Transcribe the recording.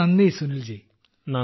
വളരെ നന്ദി സുനിൽ ജി